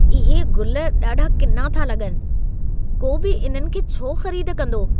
इहे गुल ॾाढा किना था लॻनि। को बि इन्हनि खे छो ख़रीद कंदो?